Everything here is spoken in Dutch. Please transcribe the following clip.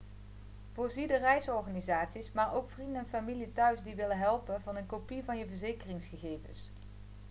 voorzie de reisorganisaties maar ook vrienden en familie thuis die willen helpen van een kopie van je verzekeringsgegevens